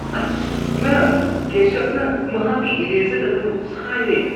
ꯑꯁ! ꯃꯦꯝ, ꯀꯦꯁꯕꯅ ꯃꯍꯥꯛꯀꯤ ꯏꯔꯦꯖꯔ ꯑꯗꯨ ꯁꯥꯏꯔꯦ꯫